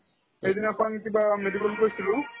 সেইদিনাখন কিবা medical তে আছিলো